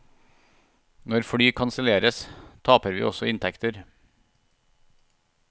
Når fly kanselleres, taper vi også inntekter.